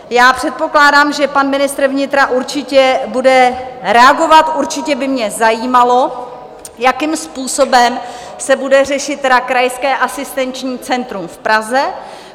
Já předpokládám, že pan ministr vnitra určitě bude reagovat, určitě by mě zajímalo, jakým způsobem se bude řešit krajské asistenční centrum v Praze.